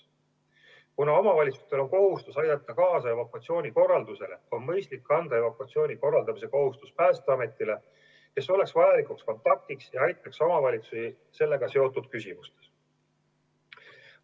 Kuna omavalitsustel on kohustus aidata kaasa evakuatsiooni korraldamisele, on mõistlik anda evakuatsiooni korraldamise kohustus Päästeametile, kes oleks vajalikuks kontaktiks ja aitaks omavalitsusi sellega seotud küsimustes.